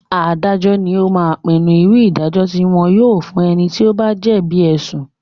Adájọ́ lo máa ń pinnu irú ìdájọ́ tí yóò fún ẹni tí ó bá jẹ̀bi ẹ̀sùn